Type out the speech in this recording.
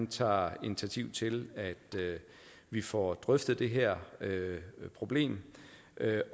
tager initiativ til at vi får drøftet det her problem